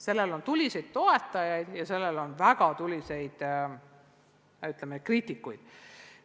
Sellel on tuliseid toetajaid ja väga tuliseid kriitikuid.